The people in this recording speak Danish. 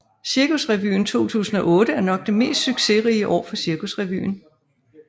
Cirkusrevyen 2008 er nok det mest succesrige år for Cirkusrevyen